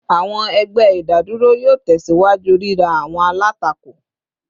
Awọn ẹgbẹ idaduro yoo tẹsiwaju rira awọn alatako